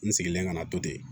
N sigilen kana to ten